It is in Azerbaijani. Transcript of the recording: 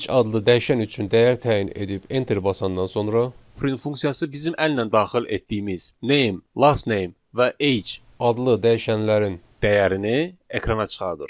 Age adlı dəyişən üçün dəyər təyin edib enter basandan sonra print funksiyası bizim əllə daxil etdiyimiz Name, Lastname və Age adlı dəyişənlərin dəyərini ekrana çıxardır.